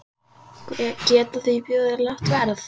Geta því boðið lágt verð.